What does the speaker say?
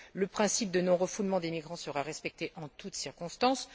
Le principe du non refoulement des migrants sera respecté en toutes circonstances.